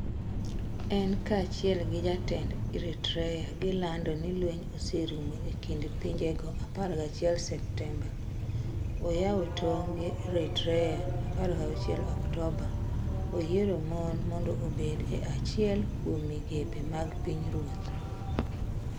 En kaachiel gi jatend Eritrea gilando ni lweny oserumo e kind pinjego 11 Septemba - Oyawo tong ' gi Eritrea 16 Oktoba - Oyiero mon mondo obed e achiel kuom migepe mag pinyruoth.